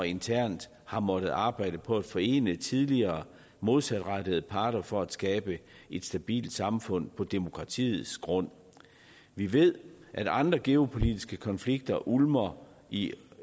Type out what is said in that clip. internt har måttet arbejde på at forene tidligere modsatrettede parter for at skabe et stabilt samfund på et demokratisk grundlag vi ved at andre geopolitiske konflikter ulmer i